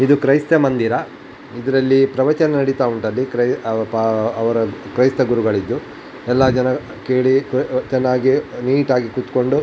ಇದು ಕ್ರೈಸ್ತ ಮಂದಿರ ಇದರಲ್ಲಿ ಪ್ರವಚನ ನಡೀತಾ ಉಂಟು ಅದು ಕ್ರೈಸ್ತ ಅದು ಅವ್ ಅವ್ರ ಕ್ರೈಸ್ತ ಗುರುಗಳಿದು ಎಲ್ಲ ಜನ ಕೇಳಿ ಚೆನ್ನಾಗಿ ನೀಟಾಗಿ ಕುತ್ಕೊಂಡು --